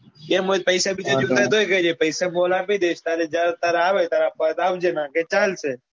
એમ હોય તો પૈસા બીજા જોઈતા હોય તો કેજે પૈસા હું તને આપી દઈસ પૈસા તાર જયારે ત્યારે આવે ત્યારે પાછા આપજે ની તો ચાલશે